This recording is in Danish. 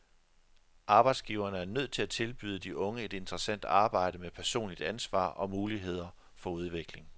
Arbejdsgiverne er nødt til at tilbyde de unge et interessant arbejde med personligt ansvar og muligheder for udvikling.